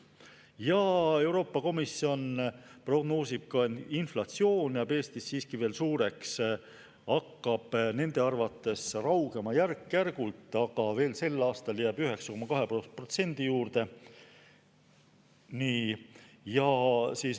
Ja Euroopa Komisjon prognoosib ka, et inflatsioon jääb Eestis siiski veel suureks, see hakkab nende arvates raugema järk-järgult, aga sel aastal jääb 9,2% juurde.